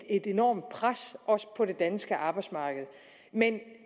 et enormt pres også på det danske arbejdsmarked men